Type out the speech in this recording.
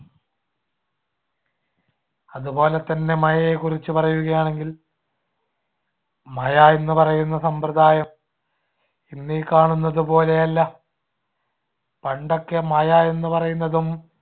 അതുപോലെതന്നെ മഴയെകുറിച്ചു പറയുകയാണെങ്കിൽ മഴ എന്ന് പറയുന്ന സമ്പ്രദായം ഇന്നീ കാണുന്നതുപോലെയല്ല. പണ്ടൊക്കെ മഴ എന്നുപറയുന്നതും